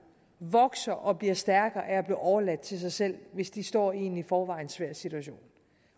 vokser og bliver stærkere af overladt til sig selv hvis de står i en i forvejen svær situation